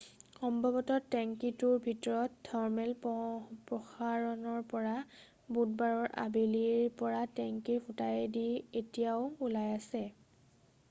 সম্ভৱত টেঙ্কীটোৰ ভিতৰৰ থাৰ্মেল প্ৰসাৰণৰ পৰা বুধবাৰৰ আবেলিৰ পৰা টেঙ্কীৰ ফুটাইদি এতিয়াও ওলাই আছে